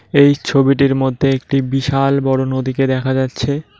এই ছবিটির মধ্যে একটি বিশাল বড় নদীকে দেখা যাচ্ছে।